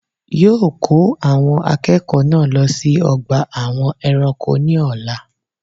Yóò ko àwon akéèkó náà lo sí ogbà àwọn eranko ní òla